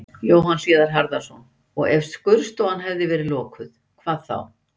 Jóhann Hlíðar Harðarson: Og ef skurðstofan hefði verið lokuð, hvað þá?